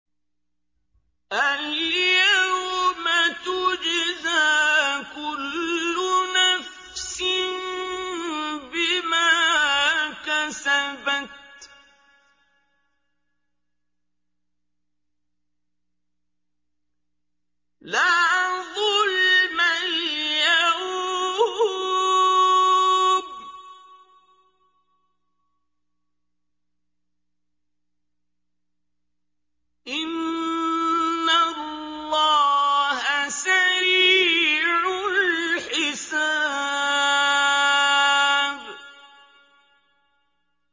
الْيَوْمَ تُجْزَىٰ كُلُّ نَفْسٍ بِمَا كَسَبَتْ ۚ لَا ظُلْمَ الْيَوْمَ ۚ إِنَّ اللَّهَ سَرِيعُ الْحِسَابِ